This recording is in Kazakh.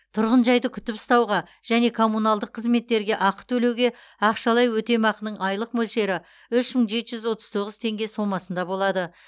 тұрғынжайды күтіп ұстауға және коммуналдық қызметтерге ақы төлеуге ақшалай өтемақының айлық мөлшері үш мың жеті жүз отыз тоғыз теңге сомасында болады